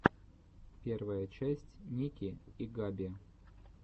первая часть ники и габи